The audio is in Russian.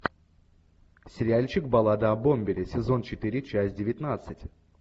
сериальчик баллада о бомбере сезон четыре часть девятнадцать